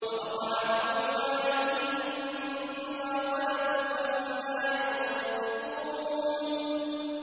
وَوَقَعَ الْقَوْلُ عَلَيْهِم بِمَا ظَلَمُوا فَهُمْ لَا يَنطِقُونَ